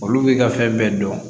Olu b'i ka fɛn bɛɛ dɔn